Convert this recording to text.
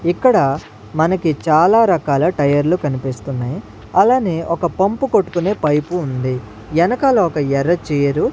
ఇక్కడ మనకి చాలా రకాల టైర్లు కనిపిస్తున్నాయి అలానే ఒక పంపు కొట్టుకునే పైపు ఉంది వెనకాల ఒక ఎర్ర చైరు .